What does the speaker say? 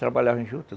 Trabalhava em